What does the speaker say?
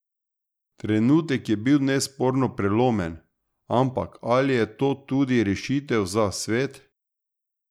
Trenutek je bil nesporno prelomen, ampak ali je to tudi rešitev za svet?